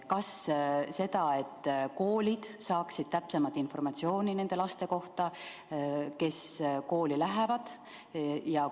Kas seda, et koolid peavad saama täpsemat informatsiooni nende laste kohta, kes kooli lähevad?